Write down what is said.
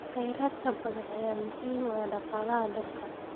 Kheyraadka badda ayaa muhiim u ah dhaqaalaha dalka.